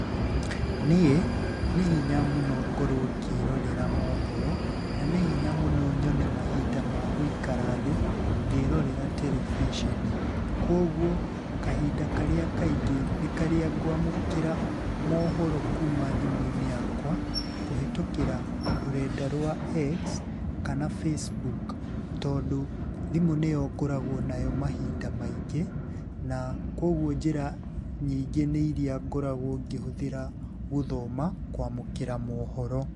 Niĩ nĩ hinya mũno ngorwo ngĩĩrorera mohoro, na nĩ hinya mũno nyone mahinda ma gũikara thĩĩ ngĩĩrorera terebiceni. Kuoguo, kahinda karĩa kaingĩ nĩ karĩa ngwamũkĩra mohoro kuuma thimũ-inĩ yakwa kũhĩtũkĩra rũrenda rwa X kana Facebook, tondũ thimũ nĩyo ngoragwo nayo mahinda maingĩ na koguo njĩra nyingĩ nĩ iria ngoragwo ngĩhũthĩra gũthoma kwamũkĩra mohoro.